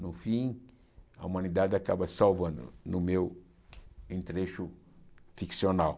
No fim, a humanidade acaba se salvando, no meu entrecho ficcional.